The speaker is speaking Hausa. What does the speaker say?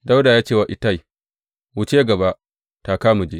Dawuda ya ce wa Ittai, Wuce gaba, taka mu je.